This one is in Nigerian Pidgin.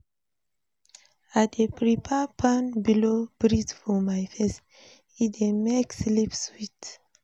I dey prefer fan blow breeze for my face, e dey make sleep sweet.